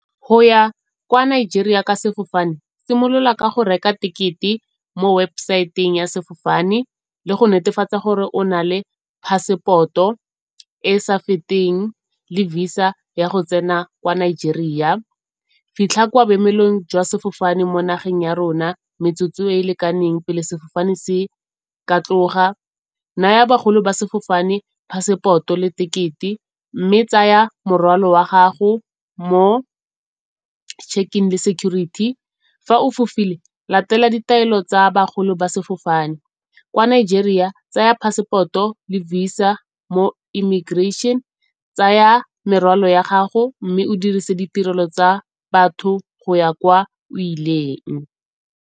Go ya kwa Nigeria ka sefofane, simolola ka go reka tekete mo website-ng ya sefofane le go netefatsa gore o na le passport-o e sa feteng le Visa ya go tsena kwa Nigeria. Fitlha kwa boemelong jwa sefofane mo nageng ya rona metsotso e e lekaneng pele sefofane se ka tloga. Naya bagolo ba sefofane phaseporoto le tekete mme tsaya morwalo wa gago mo check-in le security. Fa o fofile latela ditaelo tsa bagolo ba sefofane, kwa Nigeria tsaya passport-o Visa mo immigration. Tsaya merwalo ya gago mme o dirise ditirelo tsa batho go ya kwa o ileng.